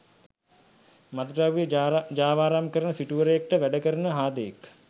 මත්ද්‍රව්‍ය ජාවාරම් කරන සිටුවරයෙක්ට වැඩ කරන හාදයෙක්.